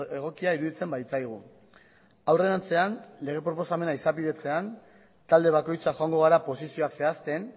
egokia iruditzen baitzaigu aurrerantzean lege proposamena izapidetzean talde bakoitza joango gara posizioak zehazten